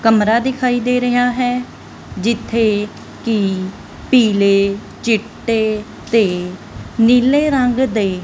ਕਮਰਾ ਦਿਖਾਈ ਦੇ ਰਿਹਾ ਹੈ ਜਿੱਥੇ ਕਿ ਪੀਲੇ ਚਿੱਟੇ ਤੇ ਨੀਲੇ ਰੰਗ ਦੇ --